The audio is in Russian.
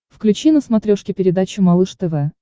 включи на смотрешке передачу малыш тв